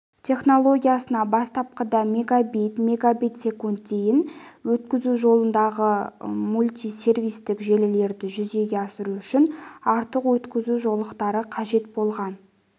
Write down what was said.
технологиясына бастапқыда мегабит мегабит секунд дейін өткізу жолағындағы мультисервистік желілерді жүзеге асыру үшін артық өткізу жолақтары қажет болған